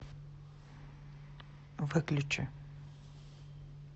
выключи